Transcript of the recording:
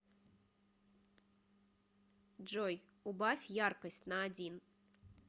джой убавь яркость на один